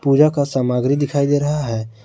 पूजा का सामग्री दिखाई दे रहा है।